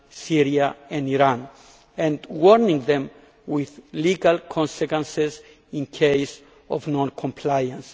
Syria and Iran, and warning them of legal consequences in case of non compliance.